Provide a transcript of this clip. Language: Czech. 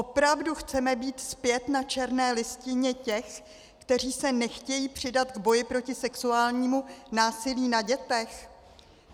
Opravdu chceme být zpět na černé listině těch, kteří se nechtějí přidat k boji proti sexuálnímu násilí na dětech?